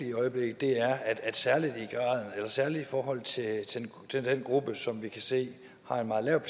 i øjeblikket er særlig i forhold til den gruppe som vi kan se har en meget lav